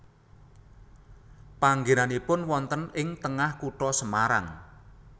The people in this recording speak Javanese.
Panggenanipun wonten ing tengah kutha Semarang